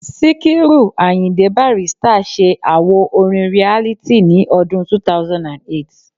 Síkírù Àyìndé Bàrístà se àwo orin Reality ní ọdún 2008